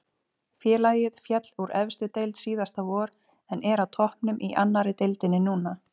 Félagið féll úr efstu deild síðasta vor en er á toppnum í annari deildinni núna.